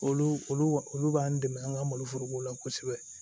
Olu olu olu b'an dɛmɛ an ka maloforoko la kosɛbɛ